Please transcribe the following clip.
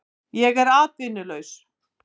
Ég er atvinnulaus